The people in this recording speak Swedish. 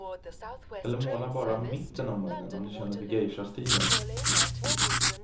Eller måla bara mitten av munnen om du känner för geishastilen.